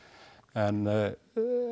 en